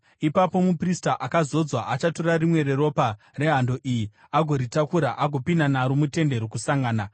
Ipapo muprista akazodzwa achatora rimwe reropa rehando iyi agoritakura agopinda naro muTende Rokusangana.